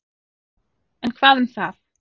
En hvað um það.